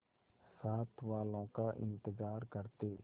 साथ वालों का इंतजार करते